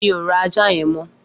Mi ó rá àjá yèn mọ